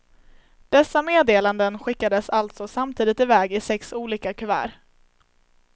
Dessa meddelanden skickades alltså samtidigt i väg i sex olika kuvert.